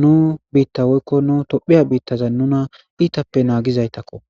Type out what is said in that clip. nuu biiththaa woykko nuu toophphiya biiththaza nuna iithappe naagizaythakkoo.